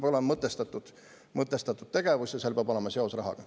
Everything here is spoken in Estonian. Aga see peab olema mõtestatud tegevus ja seal peab olema seos rahaga.